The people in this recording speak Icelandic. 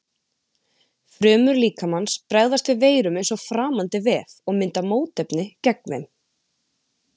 Frumur líkamans bregðast við veirum eins og framandi vef og mynda mótefni gegn þeim.